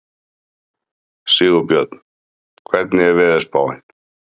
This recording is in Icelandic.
Sigurbjörn, hvernig er veðurspáin?